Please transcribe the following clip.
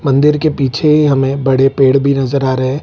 मंदिर के पीछे ही हमें बड़े पेड़ भी नजर आ रहे हैं।